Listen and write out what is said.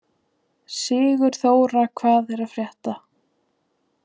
Sigurþóra, hvað er að frétta?